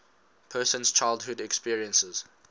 person's childhood experiences